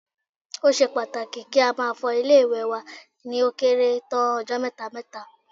Ó ṣe pàtàkì kí a máa fọ ilé-ìwẹ̀ wa ni ó kéré tán ọjọ́ mẹ́ta mẹ́ta